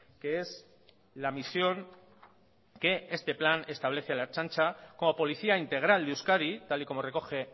que es la misión que este plan establece a la ertzaintza como policía integral de euskadi tal y como recoge